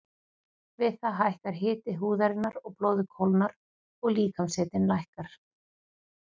Við það hækkar hiti húðarinnar og blóðið kólnar og líkamshitinn lækkar.